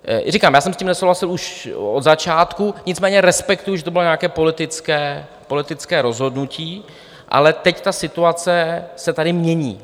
Říkám, já jsem s tím nesouhlasil už od začátku, nicméně respektuji, že to bylo nějaké politické rozhodnutí, ale teď ta situace se tady mění.